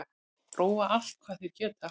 Róa allt hvað þeir geta